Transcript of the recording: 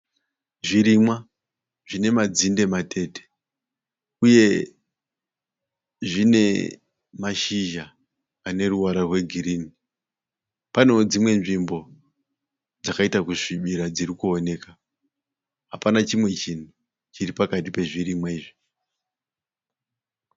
Zvirimwa zvine madzinde matete uye zvine mashizha ane ruvara rwe girini. Paneo dzimwe nzvimbo dzakaita kusvibira dziri kuoneka. Hapana chimwe chinhu chiri pakati pezvirimwa izvi.